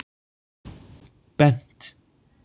Bent